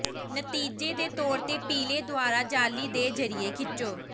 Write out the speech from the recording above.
ਨਤੀਜੇ ਦੇ ਤੌਰ ਤੇ ਪੀਲੇ ਦੁਆਰਾ ਜਾਲੀ ਦੇ ਜ਼ਰੀਏ ਖਿੱਚੋ